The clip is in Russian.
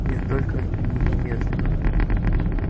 нет только не немедленно